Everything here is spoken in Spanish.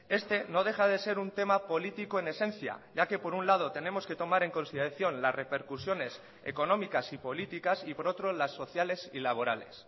este no deja de ser un tema político en esencia ya que por un lado tenemos que tomar en consideración las repercusiones económicas y políticas y por otro las sociales y laborales